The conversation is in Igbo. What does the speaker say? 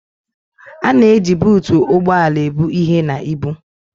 A na-eji buutu ụgbọ ala ebu ihe na ibu.